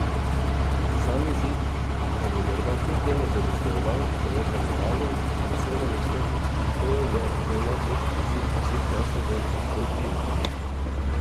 Sam izid pa bi morda kljub temu zadostoval celo za medaljo v solo nastopu in to je moj najboljši izid vseh časov v delfinu.